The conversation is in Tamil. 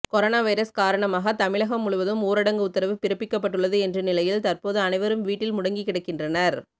கொரோனா வைரஸ் காரணமாக தமிழகம் முழுவதும் ஊரடங்கு உத்தரவு பிறப்பிக்கப்பட்டுள்ளது என்ற நிலையில் தற்போது அனைவரும் வீட்டில் முடங்கி கிடக்கின்றனர்